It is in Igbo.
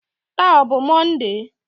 Taa ọ bụ Mọnde?